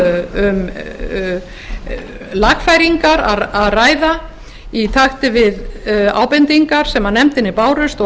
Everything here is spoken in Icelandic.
um lagfæringar að ræða í takt við ábendingar sem nefndinni bárust og